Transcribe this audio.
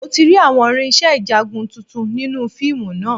Mo ti rí àwọn irinṣẹ́ ìjagun tuntun nínú fíìmù náà